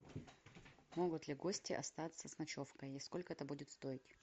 могут ли гости остаться с ночевкой и сколько это будет стоить